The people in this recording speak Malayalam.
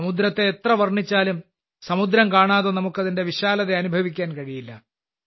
സമുദ്രത്തെ എത്ര വർണ്ണിച്ചാലും സമുദ്രം കാണാതെ നമുക്ക് അതിന്റെ വിശാലത അനുഭവിക്കാൻ കഴിയില്ല